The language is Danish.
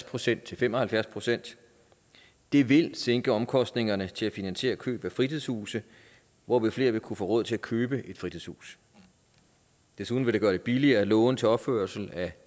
procent til fem og halvfjerds procent det vil sænke omkostningerne til at finansiere køb af fritidshuse hvorved flere vil kunne få råd til at købe et fritidshus desuden vil det gøre det billigere at låne til opførelse af